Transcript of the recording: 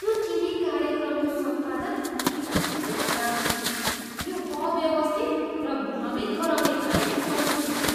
त्यो टिभी कार्यक्रमको सम्पादन निकै खराब थियो। यो अव्यवस्थित र भ्रमित गराउने खाले महसुस भयो।